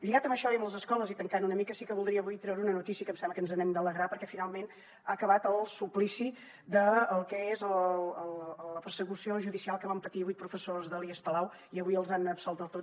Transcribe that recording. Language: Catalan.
lligat amb això i amb les escoles i tancant una mica sí que voldria avui treure una notícia que em sembla que ens n’hem d’alegrar perquè finalment ha acabat el suplici del que és la persecució judicial que van patir vuit professors de l’ies palau i avui els han absolt del tot